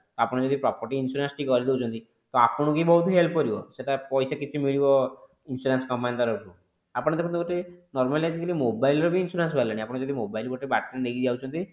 ଆପଣ ଯଦି property insurance ଟି କରିଦୋଉଛନ୍ତି ତ ଆପଣଙ୍କୁ ହିଁ ବହୁତ help କରିବ ସେଟ ପଇସା କିଛି ମିଳିବ insurance company ତରଫରୁ ଆପଣ ଗୋଟେ ଦେଖନ୍ତୁ normally ଆଜି କଲି mobile ର ବି insurance ବାହାରିଲାଣି ଆପଣ mobile ଯଦି ବାଟରେ ନେଇକି ଯାଉଛନ୍ତି